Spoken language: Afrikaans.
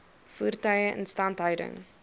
voertuie instandhouding